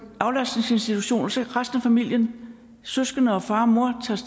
aflastningsinstitution og så tager resten af familien søskende og far og mor